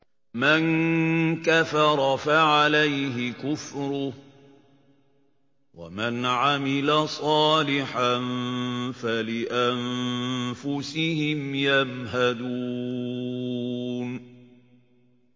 مَن كَفَرَ فَعَلَيْهِ كُفْرُهُ ۖ وَمَنْ عَمِلَ صَالِحًا فَلِأَنفُسِهِمْ يَمْهَدُونَ